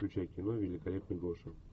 включай кино великолепный гоша